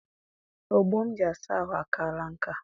Ogbo m ji asa ahụ akaala nkà.